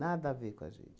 Nada a ver com a gente.